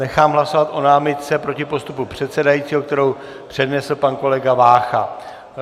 Nechám hlasovat o námitce proti postupu předsedajícího, kterou přednesl pan kolega Vácha.